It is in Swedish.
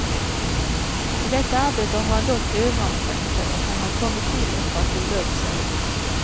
I detta arbete har han dock överansträngt sig, och han har kommit till oss för att vila upp sig.